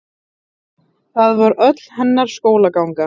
Það var öll hennar skólaganga.